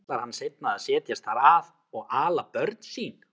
Ætlar hann seinna að setjast þar að og ala börn sín?